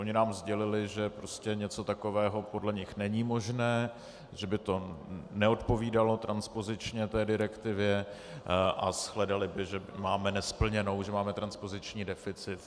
Oni nám sdělili, že prostě něco takového podle nich není možné, že by to neodpovídalo transpozičně té direktivě a shledali by, že máme nesplněno, že máme transpoziční deficit.